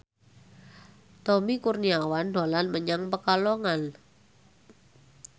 Tommy Kurniawan dolan menyang Pekalongan